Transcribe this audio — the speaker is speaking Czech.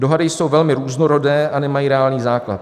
Dohady jsou velmi různorodé a nemají reálný základ.